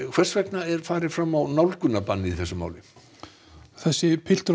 hvers vegna er farið fram á nálgunarbann í þessu máli þessi piltur